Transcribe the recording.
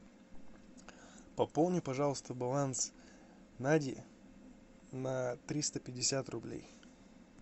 пополни пожалуйста баланс нади на триста пятьдесят рублей